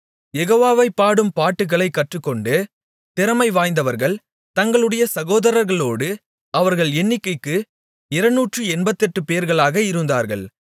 யெகோவாவைப் பாடும் பாட்டுகளைக் கற்றுக்கொண்டு திறமைவாய்ந்தவர்கள் தங்களுடைய சகோதரர்களோடு அவர்கள் எண்ணிக்கைக்கு இருநூற்று எண்பத்தெட்டுப்பேர்களாக இருந்தார்கள்